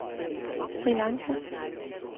Sri Lanka